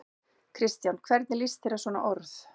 Kristján: Hvernig lýst þér á svona orð?